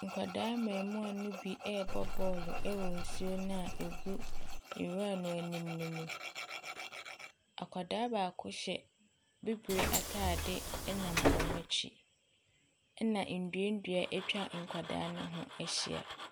Nkwadaa mmarimaa no bi rebɔ bɔɔlo wɔ nsuo no a ɛgu nwira no anim no mu. Akwadaa baako hyɛ bibire atadeɛ nam wɔn akyi. Ɛna nnuannua atwa nkwadaa no ho ahyia.